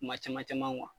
Kuma caman caman